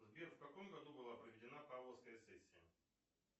сбер в каком году была проведена павловская сессия